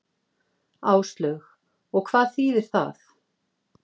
Áslaug: Og hvað þýðir það?